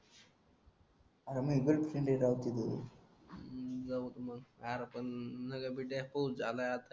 जाऊकी मग आरे पण नको पिंट्या पाऊस झाला आता